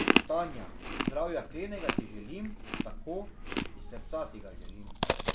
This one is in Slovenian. Tanja, zdravja klenega ti želim, tako, iz srca ti ga želim.